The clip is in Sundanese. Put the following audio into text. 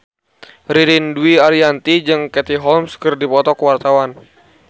Ririn Dwi Ariyanti jeung Katie Holmes keur dipoto ku wartawan